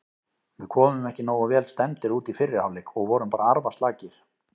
Við komum ekki nógu vel stemmdir út í fyrri hálfleik og vorum bara arfaslakir.